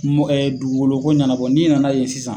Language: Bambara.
M ɛ dugugolo ko ɲɛnabɔ n'i nana yen sisan